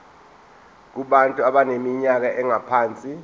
kubantu abaneminyaka engaphansi